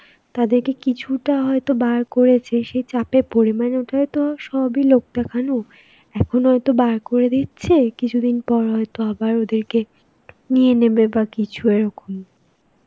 তাদেরকে কিছুটা হয়তো বার করেছে সে চাপে পরে. মানে ওইটা হয়তো সবই লোক দেখানো, এখন হয়তো বার করে দিচ্ছে, কিছুদিন পর হয়তো আবার ওদেরকে নিয়ে নেবে বা কিছু এরকম.